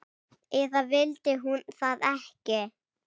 Eða vildi hún það ekki?